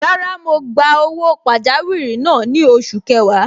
Rárá, mo gba owó pajawiri náà ni oṣù kẹwàá.